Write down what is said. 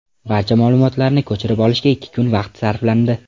Barcha ma’lumotlarni ko‘chirib olishga ikki kun vaqt sarflandi.